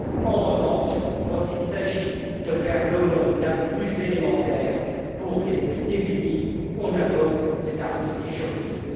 En revanche, quand il s'agit de faire l'aumône la plus élémentaire aux plus démunis, on invoque des arguties juridiques.